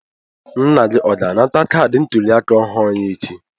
Nna gị ọ ga-anata kaadị ntuliaka ọhụrụ ya echi?